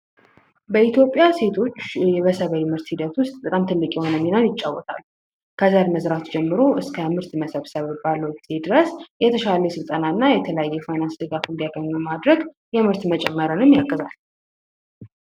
በኢትዮጵያ ሴቶች የሰብል ሂደት ውስጥ በጣም ትልቅ የሆነ ሚናን ይጫወታሉ። ከዘር መዝራት ጀምሮ እስከ ምርት መሰብሰብ ባለው ጊዜ ድረስ የተሻለ ስልጠና እና የፋይናንስ ድጋፍ እንዲያገኙ ማድረግ የምርት መጨመርን ያሳድጋል።